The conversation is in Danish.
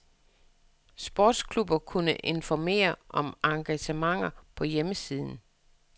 Sportsklubber kunne informere om arrangementer på hjemmesiden.